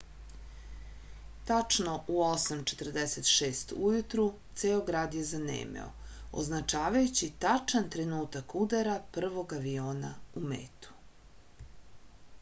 tačno u 8:46 ujutru ceo grad je zanemeo označavajući tačan trenutak udara prvog aviona u metu